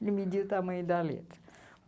Ele media o tamanho da letra.